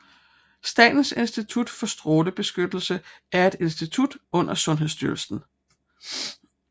Statens Institut for Strålebeskyttelse er et institut under Sundhedsstyrelsen